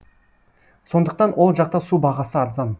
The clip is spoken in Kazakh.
сондықтан ол жақта су бағасы арзан